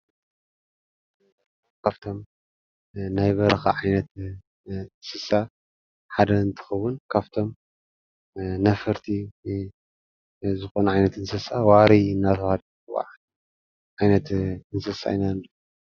ካፍቶም ናይ በረኻ ዓይነት እንስሳ ሓደ እንትኸውን፣ ካፍቶም ነፈርቲ ዝኮኑ ዓይነት እንስሳ ዋሪ እናተብሃለ ዝፅዋዕ ዓይነት እንስሳ ኢና ንሪኢ ዘለና፡፡